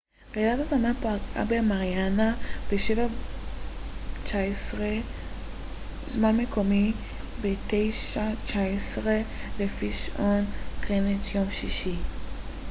רעידת האדמה פגעה במריאנה ב-07:19 זמן מקומי 21:19 לפי שעון גריניץ' יום שישי